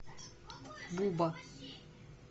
буба